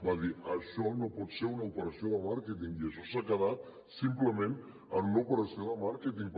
va dir això no pot ser una operació de màrqueting i això s’ha quedat simplement en una operació de màrqueting